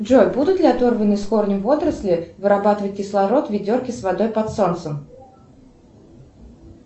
джой будут ли оторванные с корнем водоросли вырабатывать кислород в ведерке с водой под солнцем